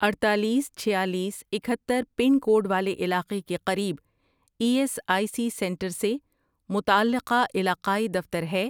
اڈتالیس، چھیالیس، اکہتر، پن کوڈ والے علاقے کے قریب E S I C centre سے متعلقہ علاقائی دفتر ہے؟